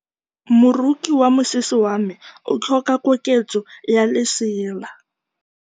Moroki wa mosese wa me o tlhoka koketsô ya lesela.